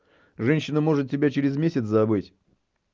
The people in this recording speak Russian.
женщина может тебя через месяц забыть